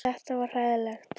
Þetta var hræðilegt.